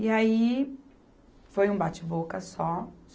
E aí, foi um bate-boca só.